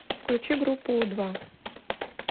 включи группу у два